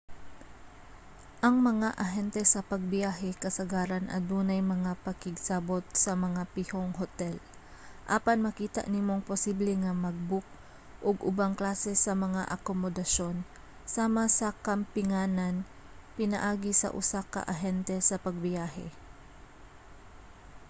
ang mga ahente sa pagbiyahe kasagaran adunay mga pakigsabot sa mga pihong hotel apan makita nimong posible nga mag-book og ubang klase sa mga akomodasyon sama sa kampinganan pinaagi sa usa ka ahente sa pagbiyahe